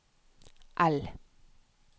L